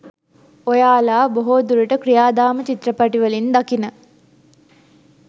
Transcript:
ඔයාලා බොහෝ දුරට ක්‍රියාදාම චිත්‍රපටිවලින් දකින